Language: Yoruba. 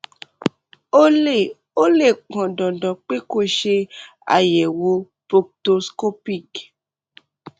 ó lè ó lè pọn dandan pé kó o ṣe àyẹwò proctoscopic